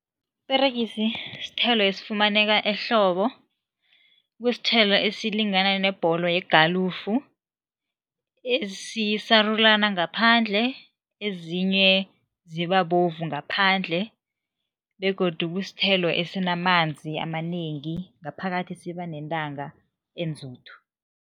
Iperegisi sithelo esifumaneka ehlobo, kusithelo esilingana nebholo yegalufu, esisarulana ngaphandle, ezinye ziba bovu ngaphandle begodu kusithelo esinamanzi amanengi, ngaphakathi siba nentanga enzuthu.